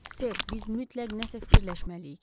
Ser, biz mütləq nəsə fikirləşməliyik.